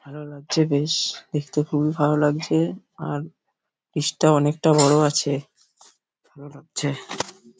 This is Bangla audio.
ভালো লাগছে বেশ দেখতে খুবই ভালো লাগছে আর ব্রিজ -টা অনেকটা বড় আছে ভালো লাগছে।